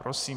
Prosím.